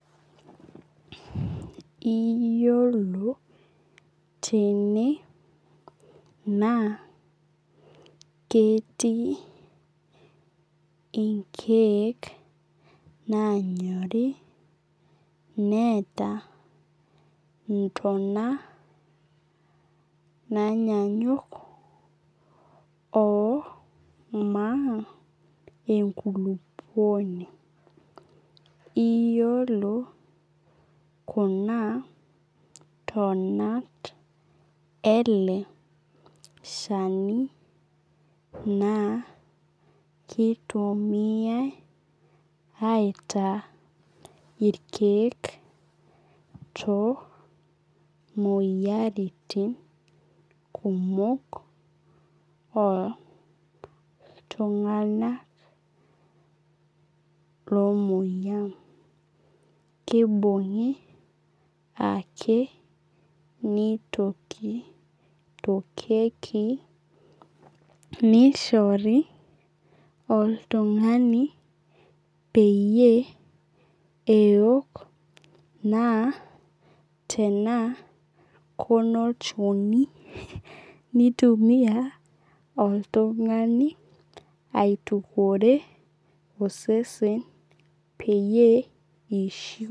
Iyiolo tene naa ketii inkeek nanyorii neeta intona naanyanyuk oo nkulupouoni. Iyiolo kuna tona ele shani naa kitumiai aitaa irkeek toomoyiarin kumok oo iltung'ana lomoyia. Kibung'i ake nitokitokie nishore oltung'ani peyie eok naa tena kunolchonj nitumia oltung'ani aitukuore osesen peyie ishiu.